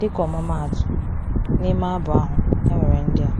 Dịka ọmụmaatụ, n’ime abụ ahụ, e nwere ndị a: